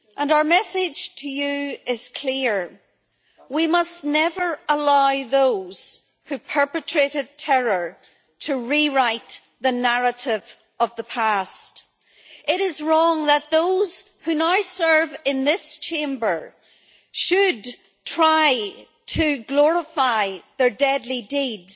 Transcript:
Our message to you is clear we must never allow those who perpetrated terror to rewrite the narrative of the past. It is wrong that those who now serve in this Chamber should try to glorify their deadly deeds